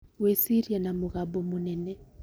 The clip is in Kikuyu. Gwĩciria na mũgambo mũnene